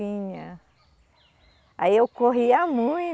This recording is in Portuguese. Aí eu corria